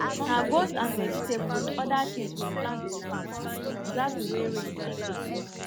na goat and vegetable with oda things we plant for farm as we observe the way rain take dey fall